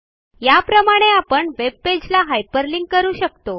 याप्रमाणे आपण वेबपेजला हायपरलिंक करू शकतो